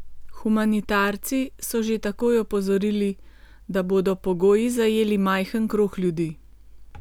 Humanitarci so že takoj opozorili, da bodo pogoji zajeli majhen krog ljudi.